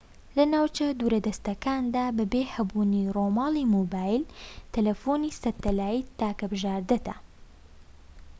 لە ناوچە دوورەدەستەکاندا بەبێ هەبوونی ڕووماڵی مۆبایل تەلەفۆنی سەتەلایت تاکە بژاردەتە